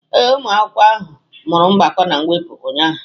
Ee, ụmụ akwụkwọ ahụ mụrụ mgbakọ na mwepụ ụnyahụ.